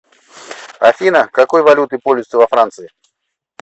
афина какой валютой пользуются во франции